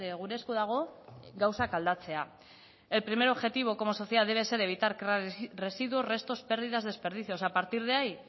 gure esku dago gauzak aldatzea el primer objetivo como sociedad debe ser evitar crear residuos restos pérdidas desperdicios a partir de ahí